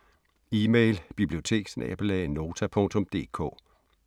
Email: biblioteket@nota.dk